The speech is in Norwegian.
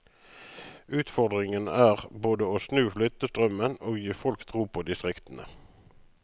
Utfordringen er både å snu flyttestrømmen og gi folk tro på distriktene.